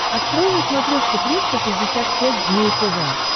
открой на смотрешке триста шестьдесят пять дней тв